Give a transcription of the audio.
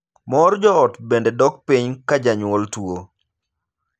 Mor joot bende dok piny ka janyuol tuo.